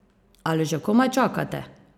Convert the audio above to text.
Ali že komaj čakate?